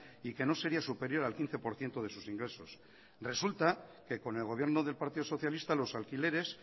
y que no sería superior al quince por ciento de sus ingresos resulta que con el gobierno del partido socialista los alquileres